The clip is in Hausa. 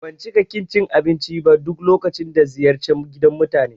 Ban cika ƙin cin abinci ba duk lokacin da ziyarci gidan mutane